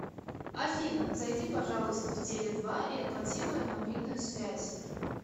афина зайди пожалуйста в теле два и оплати мою мобильную связь